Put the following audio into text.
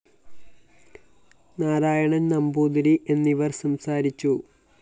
നാരായണന്‍ നമ്പൂതിരി എന്നിവര്‍ സംസാരിച്ചു